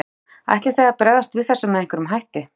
Helga: Ætlið þið að bregðast við þessu með einhverjum hætti?